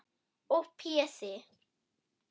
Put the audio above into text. Og Pési